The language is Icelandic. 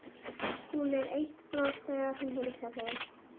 Hún er eitt bros þegar hún heilsar þeim.